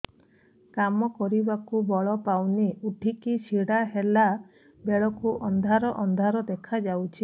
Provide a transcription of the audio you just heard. କାମ କରିବାକୁ ବଳ ପାଉନି ଉଠିକି ଛିଡା ହେଲା ବେଳକୁ ଅନ୍ଧାର ଅନ୍ଧାର ଦେଖା ଯାଉଛି